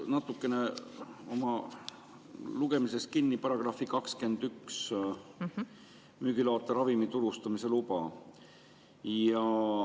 Ma olen oma lugemises natuke kinni jäänud § 21 "Müügiloata ravimi turustamise luba".